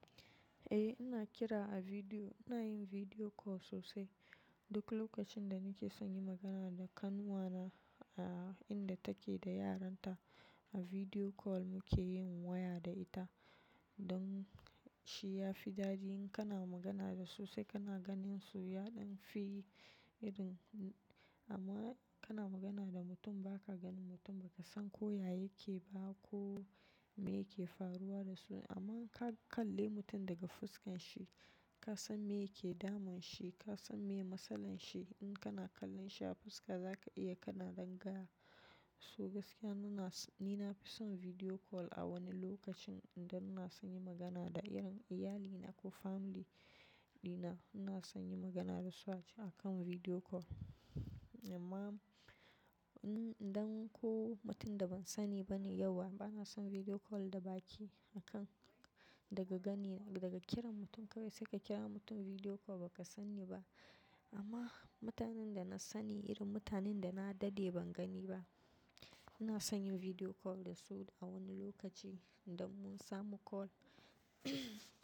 Eh, ina kira a video, ina yin video call sosai. Duk lokacin da nike son nayi magana da kanwa na, a inda take da yaranta, a video call muke yin waya da ita. Don sai ya fi daɗi in kana magana da sosai kana ganin su, yaɗan fi irin amma kana magana da mutum baka ganin mutum, ba ka san ko yaya yake ba ko me yake faruwa da shi. Amma ka kalle mutum daga fuskan shi, ka san me yake damun shi, ka san me matsalan shi. In kana kallon shi a fuska zaka iya kana ganin kana so. Gaskiya ni na fi son video call a wani lokacin idan ina san magana da irin iyalina ko family dina. Na sani magana da su a kan video call. Amma, in idan ko mutum da ban sani ba ne yauwa, bana son video call da baki a kan daga gani daga kiran mutum kawai sai ka kira mutum video call baka sani ba. Amma mutanen da na sani, irin mutanen da na dade ban gani ba, ina sanyin video call da su a wani lokaci idan mun samu call.